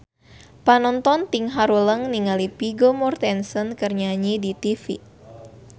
Panonton ting haruleng ningali Vigo Mortensen keur nyanyi di tipi